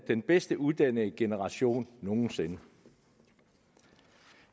den bedst uddannede generation nogen sinde